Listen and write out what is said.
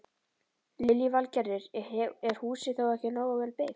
Lillý Valgerður: Er húsið þá ekki nógu vel byggt?